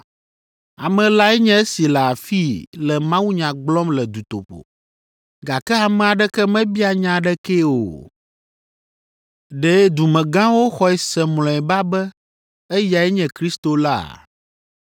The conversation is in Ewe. Ame lae nye esi le afii le mawunya gblɔm le dutoƒo, gake ame aɖeke mebia nya aɖekee o. Ɖe dumegãwo xɔe se mlɔeba be eyae nye Kristo la?